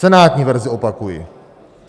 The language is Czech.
Senátní verzi, opakuji.